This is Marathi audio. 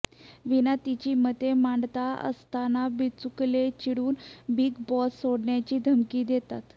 वीणा तिची मते मांडत असताना बिचुकले चिडून बिग बॉस सोडण्याची धमकी देतात